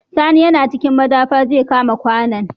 Sani na cikin madafar zai kawo ma kwAnan